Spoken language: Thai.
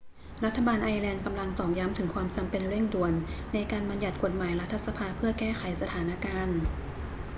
รัฐบาลไอร์แลนด์กำลังตอกย้ำถึงความจำเป็นเร่งด่วนในการบัญญัติกฎหมายรัฐสภาเพื่อแก้ไขสถานการณ์